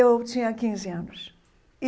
Eu tinha quinze anos.